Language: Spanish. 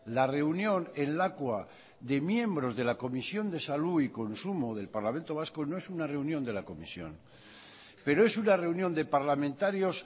la reunión en lakua de miembros de la comisión de salud y consumo del parlamento vasco no es una reunión de la comisión pero es una reunión de parlamentarios